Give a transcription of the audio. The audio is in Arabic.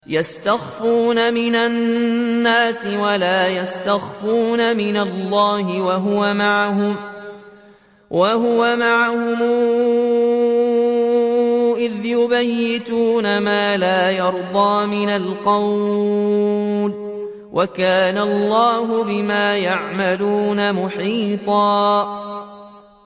يَسْتَخْفُونَ مِنَ النَّاسِ وَلَا يَسْتَخْفُونَ مِنَ اللَّهِ وَهُوَ مَعَهُمْ إِذْ يُبَيِّتُونَ مَا لَا يَرْضَىٰ مِنَ الْقَوْلِ ۚ وَكَانَ اللَّهُ بِمَا يَعْمَلُونَ مُحِيطًا